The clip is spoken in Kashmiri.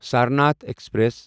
سرناتھ ایکسپریس